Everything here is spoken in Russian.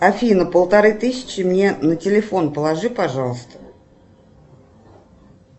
афина полторы тысячи мне на телефон положи пожалуйста